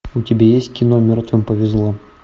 у тебя есть кино мертвым повезло